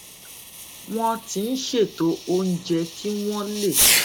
wón ti ń ṣètò oúnjẹ kí wón lè